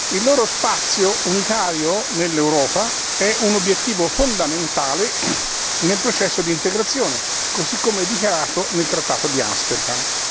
Il loro spazio unitario nell'Europa è un obiettivo fondamentale nel processo di integrazione, così come dichiarato nel trattato di Amsterdam.